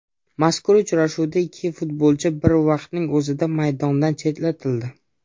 Mazkur uchrashuvda ikki futbolchi bir vaqtning o‘zida maydondan chetlatildi.